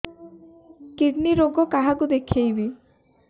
kidney ରୋଗ କାହାକୁ ଦେଖେଇବି